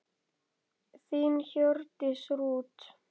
Þín Hjördís Rut.